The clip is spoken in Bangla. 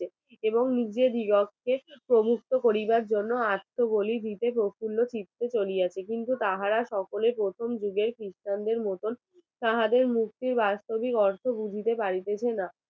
চলি আছে কিন্তু তাহার তাহারা সকলে প্রথমে কিছু christian মতন তাদের মূর্তি বাৎসরিক অর্থ দিতে পারিতেছে না।